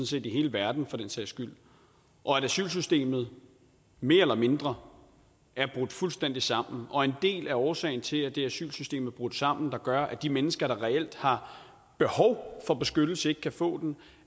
set i hele verden for den sags skyld og at asylsystemet mere eller mindre er brudt fuldstændig sammen og en del af årsagen til at det asylsystem er brudt sammen hvilket gør at de mennesker der reelt har behov for beskyttelse ikke kan få den